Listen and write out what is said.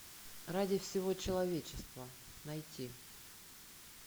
ради всего человечества найти